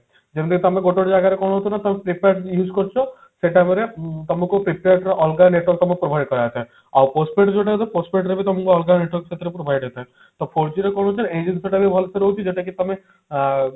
ଯେମତି କି ଆମର ଗୋଟେ ଜାଗାରେ କଣ ହଉଛି ନା ତମେ prepaid use କରୁଛେ ସେଟା ପରେ ତମକୁ prepaid ର ଅଲଗା network ତମକୁ provide କରାଯାଇ ଥାଏ ଆଉ postpaid ଯୋଉଟା ରହୁଛି postpaid ର ବି ସେମତି ଅଲଗା network ସେଥିରେ provide ହେଇଥାଏ ତ four G ରେ କଣ ହଉଛି ଏଇ ଜିନିଷଟା ବି ଭଲସେ ରହୁଛି ଯୋଉଟା କି ତମେ ହ